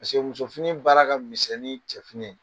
Paseke, muso fini baara ka misɛn nin cɛf